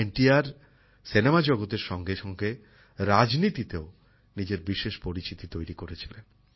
N T R cinema জগতের সঙ্গে সঙ্গে রাজনীতিতেও নিজের বিশেষ পরিচিতি তৈরি করেছিলেন